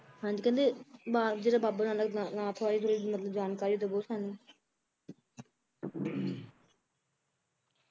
ਹਾਂਜੀ ਕਹਿੰਦੇ ਬਾ~ ਜਿਹੜੇ ਬਾਬਾ ਬਾਲਕ ਨਾਥ ਤਲਬ ਥੋੜੀ ਜਾਣਕਾਰੀ ਦਵੋ ਸਾਨੂੰ